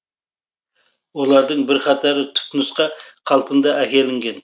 олардың бірқатары түпнұсқа қалпында әкелінген